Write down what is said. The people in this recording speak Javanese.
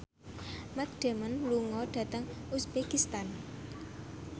Matt Damon lunga dhateng uzbekistan